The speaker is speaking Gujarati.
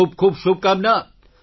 ખૂબ ખૂબ શુભકામના